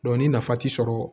ni nafa ti sɔrɔ